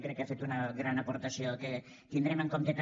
crec que ha fet una gran aportació que tindrem en compte també